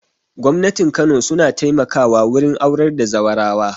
Gwamnatin kano su na taimaka wa wurin aurar da zaurawa